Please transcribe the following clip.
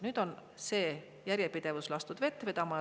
Nüüd on see järjepidevus lastud vett vedama.